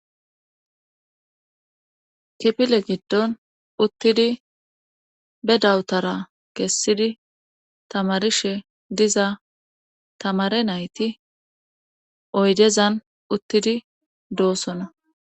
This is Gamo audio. kipile giddon uttidi be dawutara kessidi tamarishe diza tamare nayti oydezan uttidi doossona